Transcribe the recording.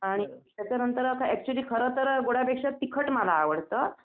आणि त्याच्यानंतर आता ऍक्च्युली खरंतर गोड़ापेक्षा तिखट मला आवडतं.